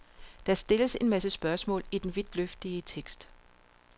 Der stilles en masse spørgsmål i den vidtløftige tekst.